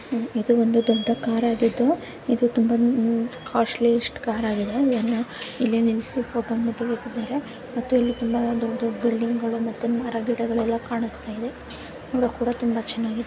ಇದು ಒಂದು ದೊಡ್ಡ ಕಾರಾ ಗಿದ್ದು ಇದು ತುಂಬಾ ಕಾಸ್ಟ್ಲಿ ಯಷ್ಟ್ ಕಾರಾಗಿದೆ. ಇಲ್ಲಿ ನಿಲ್ಸಿ ಫೋಟೋ ಮತ್ತು ಮತ್ತು ಇಲ್ಲಿ ತುಂಬಾ ದೊಡ್ಡ್ ದೊಡ್ಡ್ ಬಿಲ್ಡಿಂಗ್ ಗಳು ಮತ್ತು ಮರ ಗಿಡಗಳು ಕಾಣಿಸ್ತಾಯಿದೆ ನೋಡಕ್ಕೆ ತುಂಬಾ ಚೆನ್ನಾಗಿದೆ.